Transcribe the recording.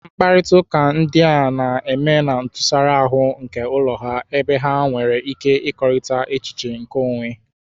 Mkparịta ụka ndị a na-eme na ntụsara ahụ nke ụlọ ha, ebe ha nwere ike ịkekọrịta echiche nke onwe.